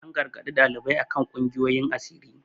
An gargaɗi ɗaliban a kan kungiyoyin asiri.